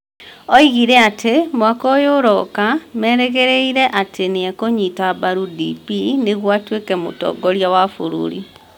Oigire atĩ, mwaka ũyũ ũroka, marerĩgĩrĩra atĩ nĩ ekũnyita mbaru DP nĩguo atuĩke mũtongoria wa bũrũri.